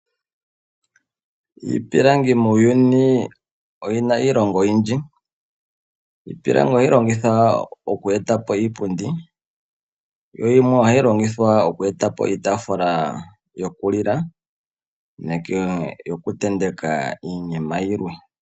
Iipilangi oyina iilonga oyindji . Iipilangi ohayi longithwa oku eta po iipundi. Yimwe ohayi longithwa oku etapo iitaafula yokulila nenge yoku tenteka iinima yimwe.